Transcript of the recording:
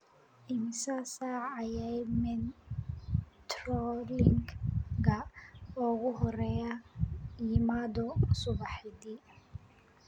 Immisa saac ayay metrolink-ga ugu horreeya yimaado subaxdii?